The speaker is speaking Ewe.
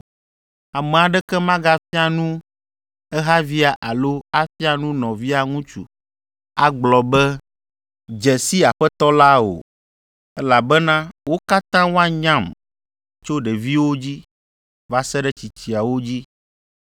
Ame aɖeke magafia nu ehavia alo afia nu nɔvia ŋutsu agblɔ be, ‘Dze si Aƒetɔ la’ o, elabena wo katã woanyam tso ɖeviwo dzi, va se ɖe tsitsiawo dzi.